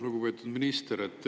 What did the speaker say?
Lugupeetud minister!